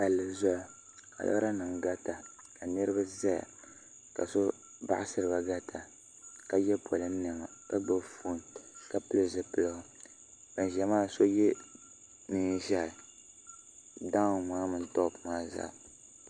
pali zuɣ' ka lora nim garita ka niriba zaya ka so baɣ' siriba garita ka yɛ polin nɛma ka gbabi ƒɔn ka pɛli zupiligu ban ʒɛya maa ni so yɛ nɛɛ ʒiɛhi daw' ni tupɛ zaa